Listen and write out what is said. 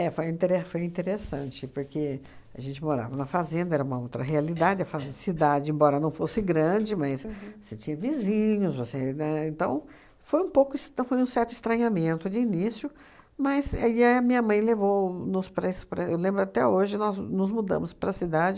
foi intere foi interessante, porque a gente morava na fazenda, era uma outra realidade, a fa cidade, embora não fosse grande, mas você tinha vizinhos, você, né, então foi um pouco es foi um certo estranhamento de início, mas aí a minha mãe levou nos para es para, eu lembro até hoje, nós nos mudamos para a cidade,